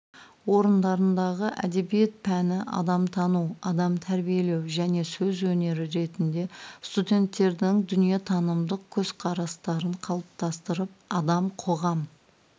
орындарындағы әдебиет пәні адамтану адам тәрбиелеу және сөз өнері ретінде студенттердің дүниетанымдық көзқарастарын қалыптастырып адам-қоғам